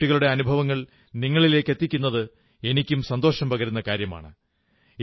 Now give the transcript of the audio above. ആ കുട്ടികളുടെ അനുഭവങ്ങൾ നിങ്ങളിലേക്കെത്തിക്കുന്നത് എനിക്കും സന്തോഷം പകരുന്ന കാര്യമാണ്